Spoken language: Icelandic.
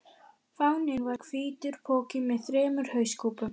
Fáninn var hvítur poki með þremur hauskúpum.